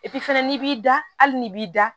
fana n'i b'i da hali n'i b'i da